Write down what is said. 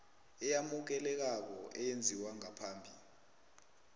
eyamukelekako eyenziwe ngaphambi